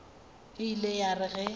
e ile ya re ge